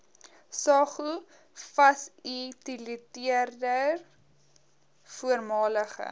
saog fasiliteerder voormalige